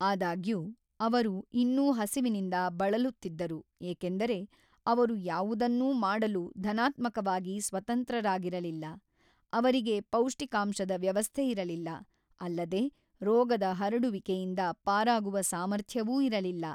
ಆದಾಗ್ಯೂ, ಅವರು ಇನ್ನೂ ಹಸಿವಿನಿಂದ ಬಳಲುತ್ತಿದ್ದರು ಏಕೆಂದರೆ ಅವರು ಯಾವುದನ್ನೂ ಮಾಡಲು ಧನಾತ್ಮಕವಾಗಿ ಸ್ವತಂತ್ರರಾಗಿರಲಿಲ್ಲ, ಅವರಿಗೆ ಪೌಷ್ಟಿಕಾಂಶದ ವ್ಯವಸ್ಥೆಯಿರಲಿಲ್ಲ, ಅಲ್ಲದೆ ರೋಗದ ಹರಡುವಿಕೆಯಿಂದ ಪಾರಾಗುವ ಸಾಮರ್ಥ್ಯವೂ ಇರಲಿಲ್ಲ.